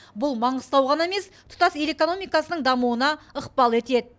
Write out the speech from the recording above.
бұл маңғыстау ғана емес тұтас ел экономикасының дамуына ықпал етеді